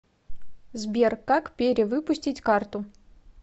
сбер как пере выпустить карту